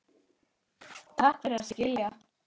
Takk fyrir að skilja.